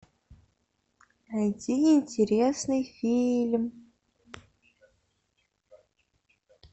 найти интересный фильм